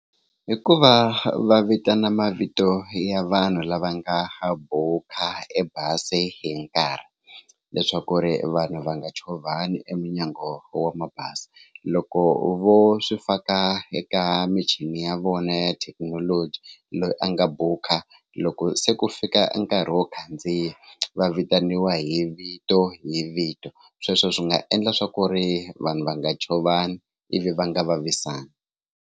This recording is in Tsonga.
Hi ku va va vitana mavito ya vanhu lava nga ha buka ebazi hi nkarhi leswaku ri vanhu va nga chovhani eminyango wa mabazi loko vo swi faka eka michini ya vona ya thekinoloji loyi a nga buka loko se ku fika nkarhi wo khandziya va vitaniwa hi vito hi vito sweswo swi nga endla swa ku ri vanhu va nga chovani ivi va nga vavisani.